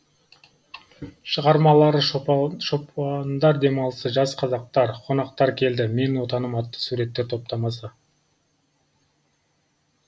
шығармалары шопандар демалысы жас қазақтар қонақтар келді менің отаным атты суреттер топтамасы